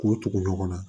K'o tugu ɲɔgɔn na